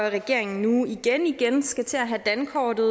at regeringen nu igen igen skal til at have dankortet